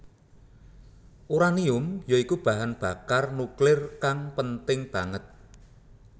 Uranium ya iku bahan bakar nuklir kang penting banget